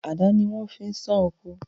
Àdá ni wọ́n fi ń sán oko.